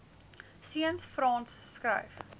seuns frans skryf